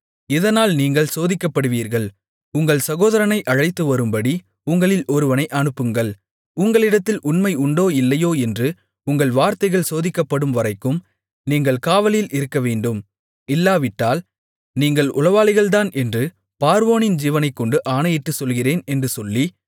இதனால் நீங்கள் சோதிக்கப்படுவீர்கள் உங்கள் சகோதரனை அழைத்து வரும்படி உங்களில் ஒருவனை அனுப்புங்கள் உங்களிடத்தில் உண்மை உண்டோ இல்லையோ என்று உங்கள் வார்த்தைகள் சோதிக்கப்படும்வரைக்கும் நீங்கள் காவலில் இருக்கவேண்டும் இல்லாவிட்டால் நீங்கள் உளவாளிகள்தான் என்று பார்வோனின் ஜீவனைக்கொண்டு ஆணையிட்டுச் சொல்லுகிறேன் என்று சொல்லி